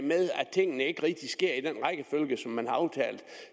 tingene ikke rigtig sker i den rækkefølge som man har aftalt